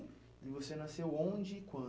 E você nasceu onde e